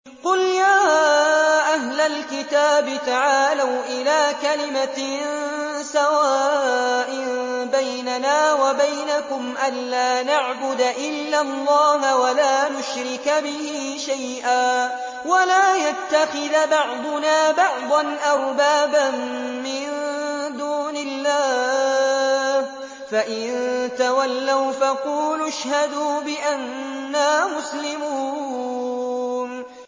قُلْ يَا أَهْلَ الْكِتَابِ تَعَالَوْا إِلَىٰ كَلِمَةٍ سَوَاءٍ بَيْنَنَا وَبَيْنَكُمْ أَلَّا نَعْبُدَ إِلَّا اللَّهَ وَلَا نُشْرِكَ بِهِ شَيْئًا وَلَا يَتَّخِذَ بَعْضُنَا بَعْضًا أَرْبَابًا مِّن دُونِ اللَّهِ ۚ فَإِن تَوَلَّوْا فَقُولُوا اشْهَدُوا بِأَنَّا مُسْلِمُونَ